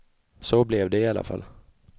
Så blev det i alla fall.